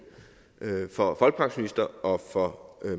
for folkepensionister og for